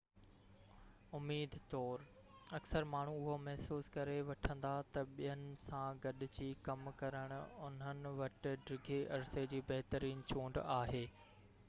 اميد طور اڪثر ماڻهو اهو محسوس ڪري وٺندا ته ٻين سان گڏجي ڪم ڪرڻ انهن وٽ ڊگهي عرصي جي بهترين چونڊ آهي